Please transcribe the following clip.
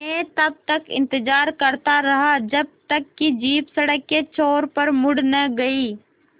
मैं तब तक इंतज़ार करता रहा जब तक कि जीप सड़क के छोर पर मुड़ न गई